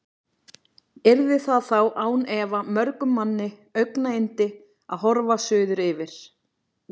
Yrði það þá án efa mörgum manni augnayndi, að horfa suður yfir